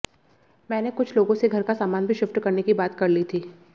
मैंने कुछ लोगों से घर का सामान भी शिफ्ट करने की बात कर ली थी